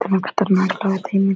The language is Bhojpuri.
कितना खतरनाक लागत हइन।